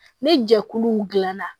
Ni jɛkuluw dilanna